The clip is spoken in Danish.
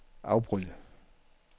afbryd